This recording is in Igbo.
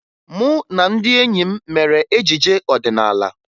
Mụ na ndị enyi m mere ejije ọdịnaala